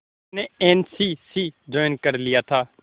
उसने N C C join कर लिया था